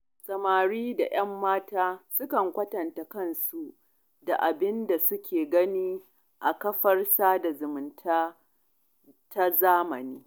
Samari da 'yan mata sukan kwatanta kansu da abin da suke gani a kafar sada zumunta ta zamani.